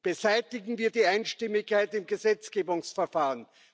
Beseitigen wir die Einstimmigkeit im Gesetzgebungsverfahren!